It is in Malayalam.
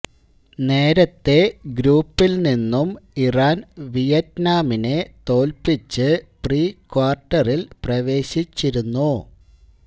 നേരത്തെ ഗ്രൂപ്പില് നിന്നും ഇറാന് വിയറ്റ്നാമിനെ തോല്പ്പിച്ച് പ്രീക്വാര്ട്ടറില് പ്രവേശിച്ചിരുന്നു